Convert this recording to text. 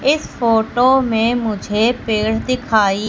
इस फोटो में मुझे पेड़ दिखाई--